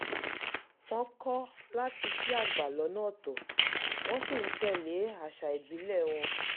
wọ́n kọ́ láti kí àgbà lọ́nà ọ̀tọ̀ wọ́n sì ń tẹ̀ lé àṣà ìbílẹ̀ wọn